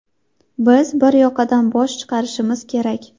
Biz bir yoqadan bosh chiqarishimiz kerak.